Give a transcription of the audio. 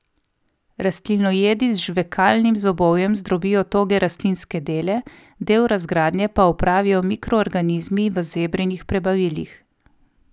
Rastlinojedi z žvekalnim zobovjem zdrobijo toge rastlinske dele, del razgradnje pa opravijo mikroorganizmi v zebrinih prebavilih.